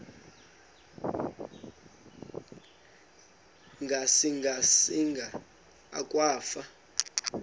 ngasinga singa akwafu